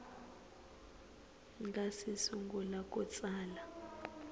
nga si sungula ku tsala